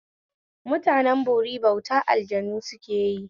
Mutanen bori bautan aljanu sukeyi